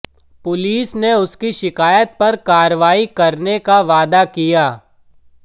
police ने उसकी शिकायत पर कार्रवाई करने का वादा किया